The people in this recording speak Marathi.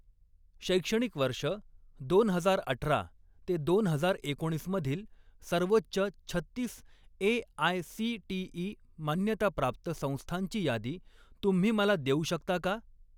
शैक्षणिक वर्ष दोन हजार अठरा ते दोन हजार एकोणीस मधील सर्वोच्च छत्तीस ए.आय.सी.टी.ई. मान्यताप्राप्त संस्थांची यादी तुम्ही मला देऊ शकता का?